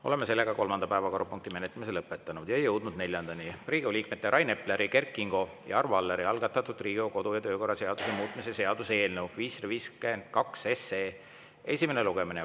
Oleme kolmanda päevakorrapunkti menetlemise lõpetanud ja jõudnud neljandani: Riigikogu liikmete Rain Epleri, Kert Kingo ja Arvo Alleri algatatud Riigikogu kodu- ja töökorra seaduse muutmise seaduse eelnõu 552 esimene lugemine.